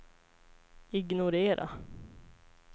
ignorera